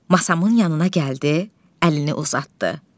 Masamın yanına gəldi, əlini uzatdı.